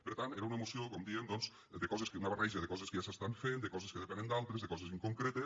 per tant era una moció com dèiem doncs d’una barreja de coses que ja s’estan fent de coses que depenen d’altres de coses inconcretes